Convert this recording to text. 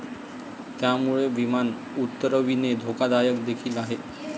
त्यामुळे विमान उतरविणे धोकादायक देखील आहे.